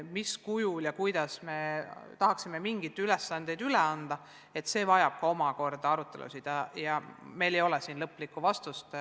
Mis kujul ja kuidas me tahaksime mingeid ülesandeid üle anda, seda tuleb omakorda arutada ja meil ei ole siin lõplikku vastust.